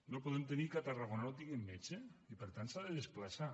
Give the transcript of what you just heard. no podem tenir que a tarragona no tinguin metge i per tant s’hagi de desplaçar